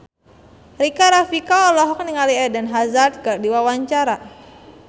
Rika Rafika olohok ningali Eden Hazard keur diwawancara